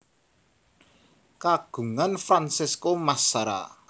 Kagungan Francesco Massara